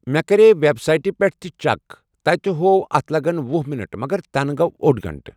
مےٚ کَرے وؠبسایٹہِ پؠٹھ تہِ چیٚک تَتہِ ہوو اَتھ لَگَن وُہہ مِنٹ مَگر تَنہٕ گۆو اۆڑ گَنٹہٕ